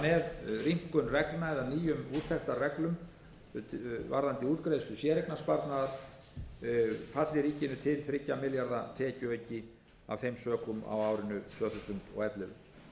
með rýmkun reglna eða nýjum úttektarreglum varðandi útgreiðslu séreignarsparnaðar falli ríkinu til þriggja milljarða króna tekjuauki af þeim sökum á árinu tvö þúsund og ellefu